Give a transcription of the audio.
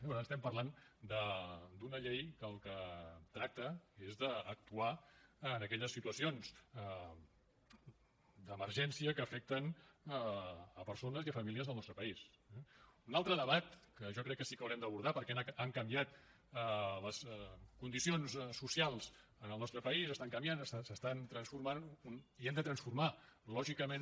per tant estem parlant d’una llei que del que tracta és d’actuar en aquelles situacions d’emergència que afecten persones i famílies del nostre país eh un altre debat que jo crec que sí que haurem d’abordar perquè han canviat les condicions socials en el nostre país estan canviant s’estan transformant i hem de transformar lògicament